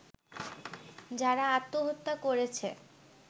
যারা আত্মহত্যা করেছে